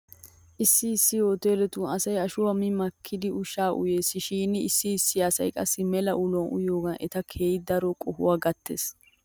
Issi issi hoteeletun asay ashuwaa mi makkidi ushshaa uyes shin issi issi asay qassi mela uluwan uyiyoogee eta keehi daro qohuwaw gattes